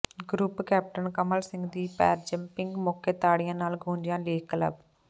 group captain Kamal Singh ਦੀ parajumping ਮੌਕੇ ਤਾੜੀਆਂ ਨਾਲ ਗੂੰਜਿਆ ਲੇਕ ਕਲੱਬ